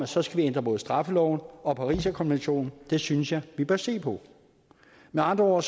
så skal ændre både straffeloven og pariserkonventionen det synes jeg vi bør se på med andre ord